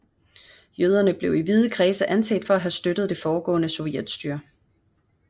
Jøderne blev i vide kredse anset for at have støttet det foregående sovjetstyre